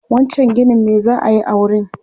Wancan ginin me za a yi a wurin?